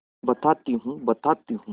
बताती हूँ बताती हूँ